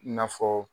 I n'a fɔ